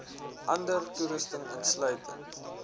ander toerusting insluitend